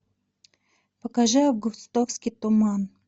покажи августовский туман